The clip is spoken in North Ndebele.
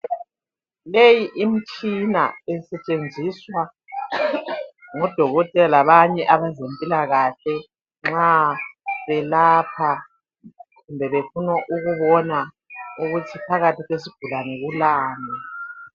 Leyi imtshina isetshenziswa ngodokotela labanye abezempilakahle nxa belapha kumbe befuna ukubona ukuthi phakathi kwesigulane kulani